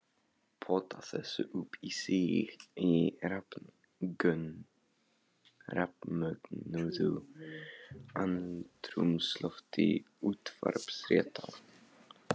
Pota þessu upp í sig í rafmögnuðu andrúmslofti útvarpsfréttanna.